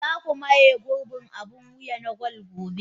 Za ku maye gurbin abin wuya na gwal gobe.